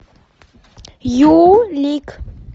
юлик